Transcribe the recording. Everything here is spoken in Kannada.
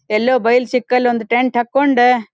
ಎಲ್ಲೋ ಬಯಲು ಸಿಕ್ಕಲ್ಲಿ ಒಂದು ಟೆಂಟ್ ಹಾಕ್ಕೊಂಡು --